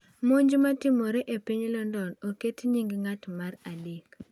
Monj matimore e piny London: Oket nying ng’at mar adek